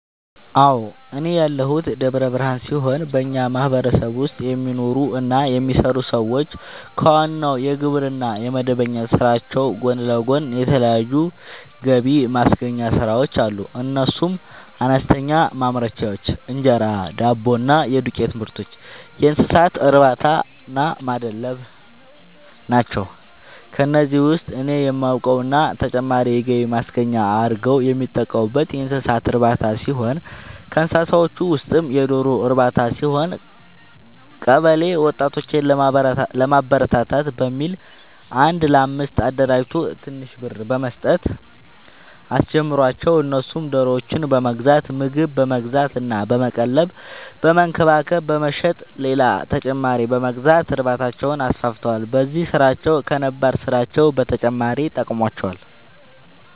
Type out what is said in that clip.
አዎ፤ እኔ ያለሁት ደብረ ብርሃን ሲሆን በኛ ማህበረሰብ ውስጥ የሚኖሩ እና የሚሰሩ ሰዎች ከዋናው የግብርና እና የመደበኛ ስራዎች ጎን ለጎን የተለያዩ ገብማስገኛ ስራዎች አሉ፤ እነሱም፦ አነስተኛ ማምረቻዎች(እንጀራ፣ ዳቦ እና የዱቄትምርቶች)፣የእንሰሳትእርባታናማድለብ ናቸው። ከነዚህ ውስጥ እኔ የማውቀው እና ተጨማሪ የገቢ ማስገኛ አርገው የሚጠቀሙበት የእንሰሳት እርባታ ሲሆን ከእንስሳዎቹ ውስጥም የዶሮ ርባታ ሲሆን፤ ቀበለ ወጣቶችን ለማበረታታት በሚል አንድ ለአምስት አደራጅቶ ትንሽ ብር በመስጠት አስጀመራቸው እነሱም ዶሮዎችን በመግዛት ምግብ በመግዛት እና በመቀለብ በመንከባከብ በመሸጥ ሌላ ተጨማሪ በመግዛት እርባታቸውን አስፋፍተዋል። በዚህም ስራቸው ከነባር ስራቸው በተጨማሪ ጠቅሞዋቸዋል።